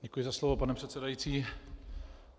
Děkuji za slovo, pane předsedající.